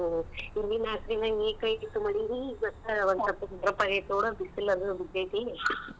ಹಾ ನಿನ್ನೆ ರಾತ್ರಿ ಮಳಿ ಇವತ್ ಒಂದ್ ಸ್ವಲ್ಪ ನೋಡ್ ಬಿಸಲ್ ಅದು ಬಿದ್ದೆತಿ.